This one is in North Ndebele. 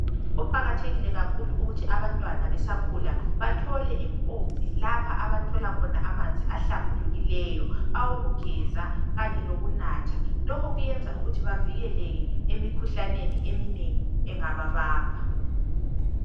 Kuqakathekile kakhulu ukuthi abantwana besakhula bathole impompi lapha abathola khona amanzi ahlambulukileyo awokugeza kanye lokunatha. Lokhu kuyenza ukuthi bavikeleke emikhuhlaneni eminengi engababamba.